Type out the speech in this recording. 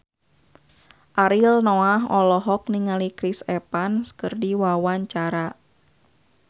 Ariel Noah olohok ningali Chris Evans keur diwawancara